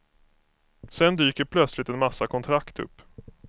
Sedan dyker plötsligt en massa kontrakt upp.